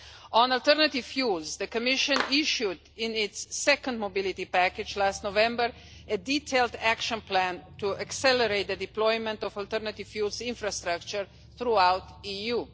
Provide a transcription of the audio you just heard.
On alternative fuels, the Commission issued, in its second mobility package last November, a detailed action plan to accelerate the deployment of alternative fuels infrastructure throughout the EU.